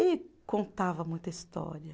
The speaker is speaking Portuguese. E contava muita história.